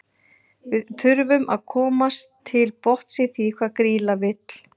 Við þurfum að komast til botns í því hvað Grýla vill.